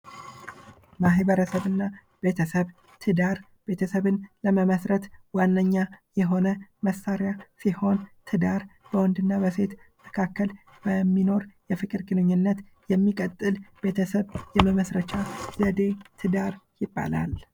ማህበረሰብ እና ቤተሰብ:- ትዳር ቤተሰብን ለመመስረት ዋነኛ የሆነ መሳሪያ ሲሆን ትዳር በወንድ እና በሴት መካከል በሚኖር የፍቅር ግንኙነት የሚቀጥል ቤተሰብ የመመስረቻ ዘዴ ትዳር ይባላል።